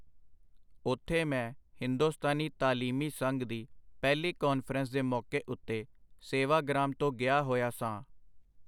ਓਥੇ ਮੈਂ ਹਿੰਦੁਸਤਾਨੀ ਤਾਲੀਮੀ ਸੰਘ ਦੀ ਪਹਿਲੀ ਕਾਨਫਰੰਸ ਦੇ ਮੌਕੇ ਉਤੇ ਸੇਵਾਗਰਾਮ ਤੋਂ ਗਿਆ ਹੋਇਆ ਸਾਂ.